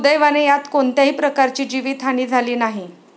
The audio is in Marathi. सुदैवाने यात कोणत्याही प्रकारची जीवित हानी झाली नाही.